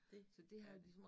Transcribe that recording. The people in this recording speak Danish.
Det er det